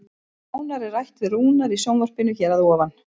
Nánar er rætt við Rúnar í sjónvarpinu hér að ofan.